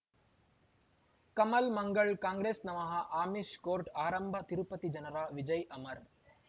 Kamal Mangal Congress ನಮಃ Amish court ಆರಂಭ ತಿರುಪತಿ ಜನರ ವಿಜಯ ಅಮರ್